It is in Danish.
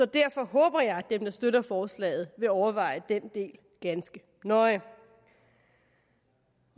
derfor håber jeg at dem der støtter forslaget vil overveje den del ganske nøje